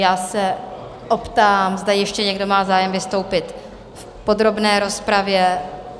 Já se optám, zda ještě někdo má zájem vystoupit v podrobné rozpravě?